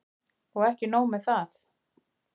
Og ekki nóg með það.